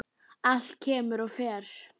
Allt kemur og fer.